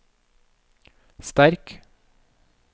sterk